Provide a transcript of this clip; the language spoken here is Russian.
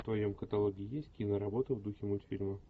в твоем каталоге есть киноработа в духе мультфильма